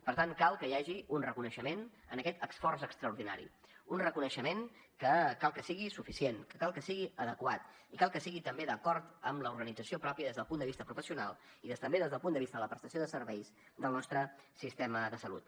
per tant cal que hi hagi un reconeixement a aquest esforç extraordinari un reconeixement que cal que sigui suficient que cal que sigui adequat i cal que sigui també d’acord amb l’organització pròpia des del punt de vista professional i també des del punt de vista de la prestació de serveis del nostre sistema de salut